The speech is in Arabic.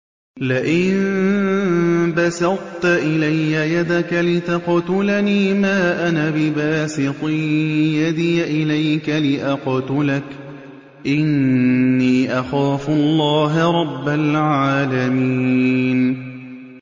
لَئِن بَسَطتَ إِلَيَّ يَدَكَ لِتَقْتُلَنِي مَا أَنَا بِبَاسِطٍ يَدِيَ إِلَيْكَ لِأَقْتُلَكَ ۖ إِنِّي أَخَافُ اللَّهَ رَبَّ الْعَالَمِينَ